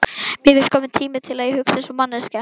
Mér finnst kominn tími til að ég hugsi einsog manneskja.